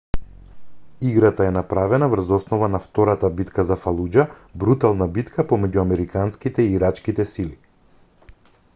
играта е направена врз основа на втората битка за фалуџа брутална битка помеѓу американските и ирачките сили